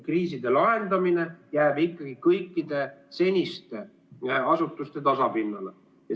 Kriiside lahendamine jääb ikkagi kõikide seniste asutuste tasapinnale.